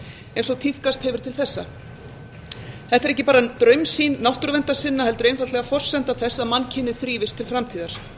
eins og tíðkast hefur til þessa þetta er ekki bara draumsýn náttúruverndarsinna heldur einfaldlega forsenda þess að mannkynið þrífist til framtíðar